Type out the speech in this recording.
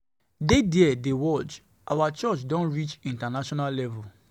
Dey there dey watch, our church don reach international international level